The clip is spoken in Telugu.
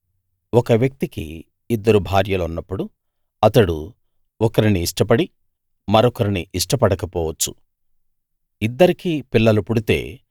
ఒక వ్యక్తికి ఇద్దరు భార్యలున్నప్పుడు అతడు ఒకరిని ఇష్టపడి మరొకరిని ఇష్టపడకపోవచ్చు ఇద్దరికీ పిల్లలు పుడితే